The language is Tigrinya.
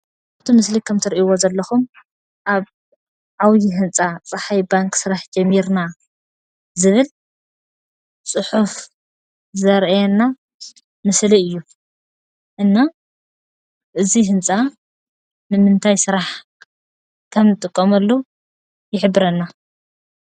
እቲ ምስሊ ከም እትርእይዎ ዘለኹም ኣብ ዓብይ ህንፃ ፀሓይ ባንክ ስራሕ ጀሚርና ዝበል ፅሑፍ ዘርእየና ምስሊ እዩ። እና እዚ ህንፃ ንምንታይ ሰራሕ ከም እንጥቀመሉ ይሕብረና።